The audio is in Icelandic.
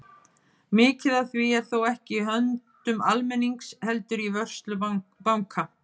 Mikið af því er þó ekki í höndum almennings heldur í vörslu banka.